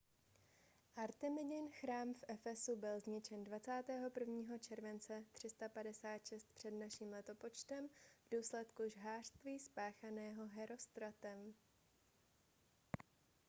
artemidin chrám v efesu byl zničen 21. července 356 př.n.l. v důsledku žhářství spáchaného herostratem